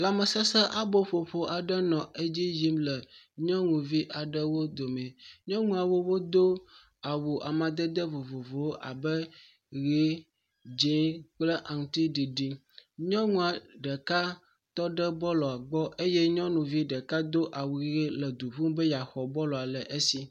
Lãmesesẽ aboƒoƒo aɖe nɔ edzi yim le nyɔnuvi aɖewo dome. Nyɔnuawo wodo awu amadede vovovowo abe, ʋe, dze kple aŋutiɖiɖi. Nyɔnua ɖeka tɔ ɖe bɔlua gbɔ eye nyɔnuvi ɖeka do awu ʋe nɔ du ƒum be yeaxɔ bɔlua le esi.